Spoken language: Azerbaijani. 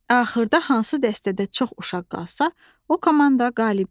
Axırda hansı dəstədə çox uşaq qalsa, o komanda qalib gəlir.